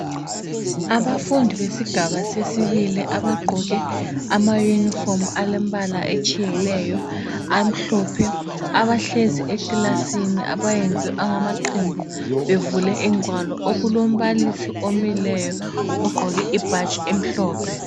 Abafundi besigaba sesibili abagqoke amayunifomu alembala etshiyeneyo amhlophe abahlezi ekilasini abayenze amaqembu bevele ingwalo okulombalisi omileyo egqoke ibhatshi elimhlophe.